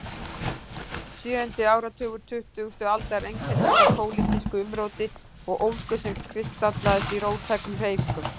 Sjöundi áratugur tuttugustu aldar einkenndist af pólitísku umróti og ólgu sem kristallaðist í róttækum hreyfingum.